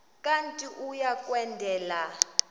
kanti uia kwendela